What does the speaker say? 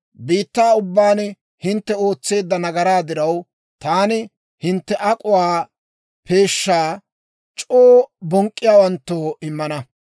Biittaa ubbaan hintte ootseedda nagaraa diraw, taani hintte ak'uwaa peeshshaa, c'oo bonk'k'iyaawanttoo immana.